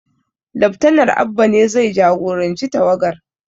Laftanal Abba ne zai jagoranci tawagar